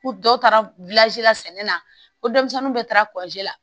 Ko dɔ taara la sɛnɛ na ko denmisɛnnin dɔ taara la